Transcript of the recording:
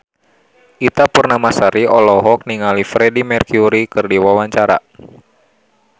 Ita Purnamasari olohok ningali Freedie Mercury keur diwawancara